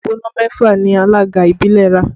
Òpó iná mẹ́fà ni alága ìbílẹ̀ ra